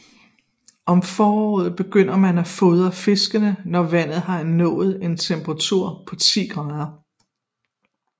Om foråret begynder man at fordre fiskene når vandet har nået en temperatur på 10 grader